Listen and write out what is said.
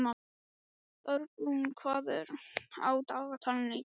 Örbrún, hvað er á dagatalinu í dag?